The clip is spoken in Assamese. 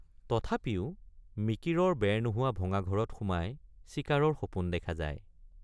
তথাপিও মিকিৰৰ বেৰ নোহোৱা ভঙা ঘৰত সোমাই চিকাৰৰ সপোন দেখা যায়।